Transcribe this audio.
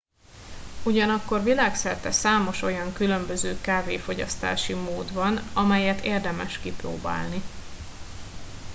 ugyanakkor világszerte számos olyan különböző kávéfogyasztási mód van amelyet érdemes kipróbálni